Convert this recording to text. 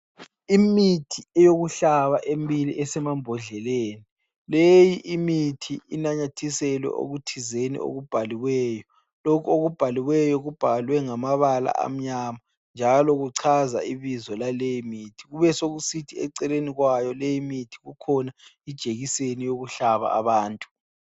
Imithi eyokuhlaba emibili esemambondleleni, leyi imithi inamathiselwe okuthizeni okubhaliweyo. Lokhu okubhaliweyo, kubhalwe ngamabala amnyama njalo kuchaza ibizo laleyo mithi. Kubesekusithi eceleni kwayo leyi mithi, kukhona ijekiseni yokuhlaba abantu.